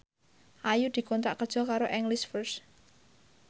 Ayu dikontrak kerja karo English First